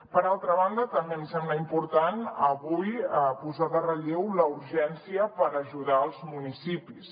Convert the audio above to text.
per altra banda també em sembla important avui posar en relleu la urgència per ajudar els municipis